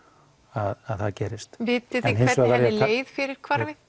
að það gerist hins vegar